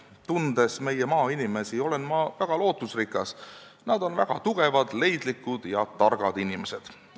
Tundes meie maainimesi, olen ma väga lootusrikas – nad on väga tugevad, leidlikud ja targad inimesed.